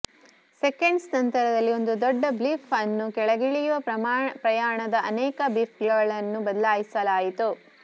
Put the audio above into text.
seconds ನಂತರದಲ್ಲಿ ಒಂದು ದೊಡ್ಡ ಬ್ಲಿಪ್ ಅನ್ನು ಕೆಳಗಿಳಿಯುವ ಪ್ರಯಾಣದ ಅನೇಕ ಬ್ಲಿಪ್ಗಳನ್ನು ಬದಲಾಯಿಸಲಾಯಿತು